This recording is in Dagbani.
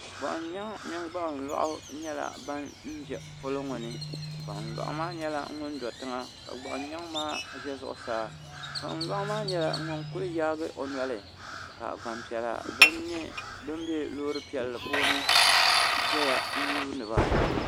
gbuɣun nyɛŋ mini gbuɣun loɣu nyɛla ban do polo ni gbuɣun nyɛŋ maa ʒɛla zuɣusaa ka gbuɣun loɣu maa ʒɛ zuɣusaa gbuɣun loɣu maa nyɛla ŋun ku yaagi o noli ka gbanpiɛla bin bɛ loori piɛlli puuni ʒɛya n yuundiba